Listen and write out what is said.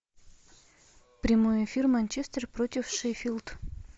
прямой эфир манчестер против шеффилд